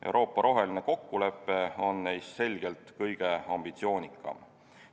Euroopa roheline kokkulepe on neist selgelt kõige ambitsioonikam.